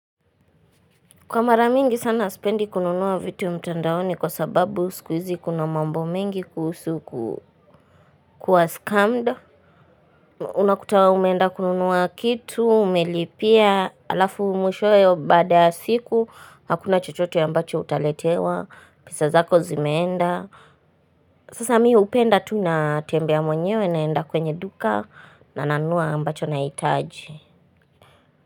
Kwa mara mingi sana sipendi kununua vitu mtandaoni kwa sababu sikui hizi kuna mambo mingi kuhusu kuwa scummed. Unakuta umeenda kununua kitu umelipia alafu mwishowe baada ya siku hakuna chochote ya ambacho utaletewa pesa zako zimeenda. Sasa mimi hupenda tu natembea mwenyewe naenda kwenye duka na nanunua ambacho nahitaji.